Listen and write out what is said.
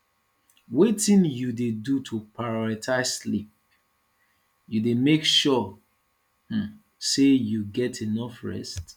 wetin you dey do to prioritze sleep you dey make sure um say you get enough rest